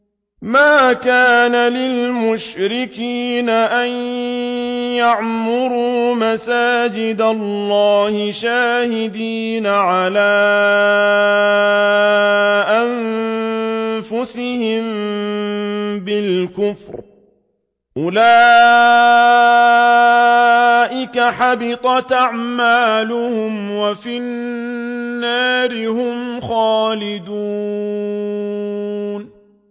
مَا كَانَ لِلْمُشْرِكِينَ أَن يَعْمُرُوا مَسَاجِدَ اللَّهِ شَاهِدِينَ عَلَىٰ أَنفُسِهِم بِالْكُفْرِ ۚ أُولَٰئِكَ حَبِطَتْ أَعْمَالُهُمْ وَفِي النَّارِ هُمْ خَالِدُونَ